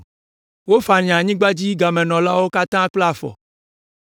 Woafanya anyigbadzigamenɔlawo katã kple afɔ.